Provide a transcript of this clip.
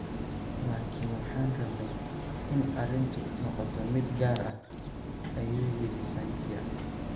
Laakiin waxaan rabnay in arrintu noqoto mid gaar ah, "ayuu yiri Sanchia.